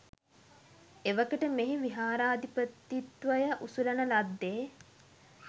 එවකට මෙහි විහාරාධිපතිත්වය උසුලන ලද්දේ